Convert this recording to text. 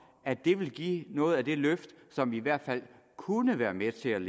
at det vil give noget af det løft som i hvert fald kunne være med til